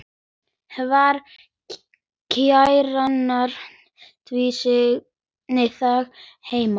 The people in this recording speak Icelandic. Hvar kjarnar þú þig heima?